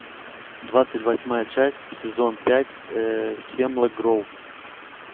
двадцать восьмая часть сезон пять хемлок гроув